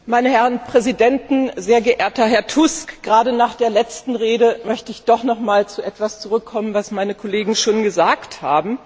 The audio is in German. Herr Präsident, meine Herren Präsidenten, sehr geehrter Herr Tusk! Gerade nach der letzten Rede möchte ich doch noch einmal auf etwas zurückkommen, das meine Kollegen schon gesagt haben.